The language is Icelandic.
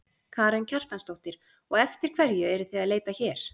Karen Kjartansdóttir: Og eftir hverju eruð þið að leita hér?